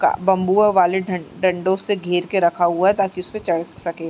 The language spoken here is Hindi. का बंबूओं वाले डं-डंडो से घेर के रखा हुआ है ताकि उसपे चढ़ सके।